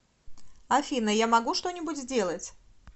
афина я могу что нибудь сделать